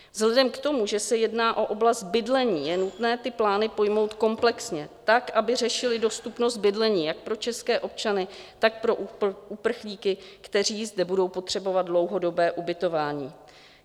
Vzhledem k tomu, že se jedná o oblast bydlení, je nutné ty plány pojmout komplexně, tak, aby řešily dostupnost bydlení jak pro české občany, tak pro uprchlíky, kteří zde budou potřebovat dlouhodobé ubytování.